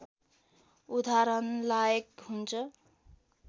उदाहरणलायक हुन्छ